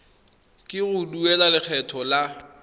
ke go duela lekgetho la